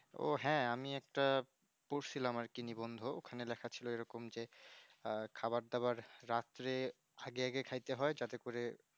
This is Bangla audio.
ওহ হ্যাঁ আমি একটা পড়ছিলাম আর কিনা বন্ধু ওখানে দেখছিলো এইরকম যে আহ খাবার দাবার রাত্রে আগে আগে খাইতে হয় তাতে করে